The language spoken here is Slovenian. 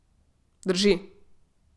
Drži.